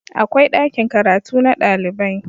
akwai ɗakin karatu na ɗalibai